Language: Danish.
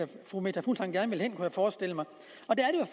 der fru meta fuglsang gerne ville hen kunne jeg forestille mig